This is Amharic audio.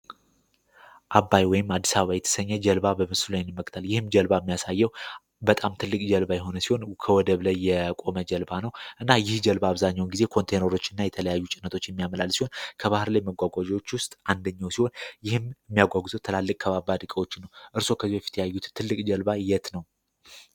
አባይ ወይም አዲስ አበባ የተሰኘ ጀልባ ሚያሳየው በጣም ትልባ የሆነ ሲሆን የቆመ ጀልባ ነው እና በአብዛኛውን ጊዜ ኮንቴኖች እና የተለያዩ ውስጥ አንደኛ ትላልቅ እርሶ